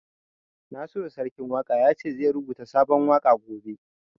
Nasiru Sarkin Waƙa ya ce zai rubuta sabon waƙa gobe